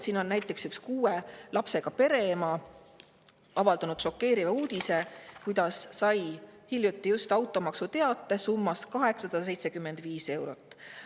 Siin on näiteks üks kuue lapsega pere ema avaldanud šokeeriva uudise, kuidas ta sai hiljuti automaksuteate summas 875 eurot.